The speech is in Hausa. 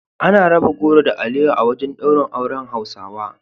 Ana raba goro da alewa a wajen daurin auren Hausawa